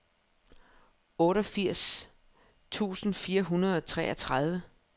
otteogfirs tusind fire hundrede og treogtredive